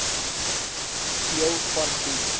deel van die